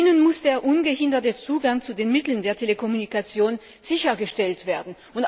Für sie muss der ungehinderte Zugang zu den Mitteln der Telekommunikation sichergestellt werden.